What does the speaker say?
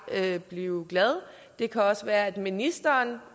jeg blive glad det kan også være at ministeren